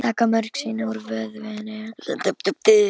Taka mörg sýni úr vöðvum, húð og sinum?